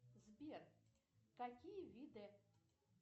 сбер какие виды